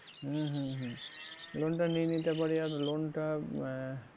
হম হম হম loan টা নিয়ে নিতে পারি আর loan টা আহ